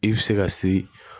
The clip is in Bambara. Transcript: I bɛ se ka siri